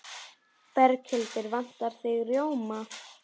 Berghildur: Vantar þig rjóma?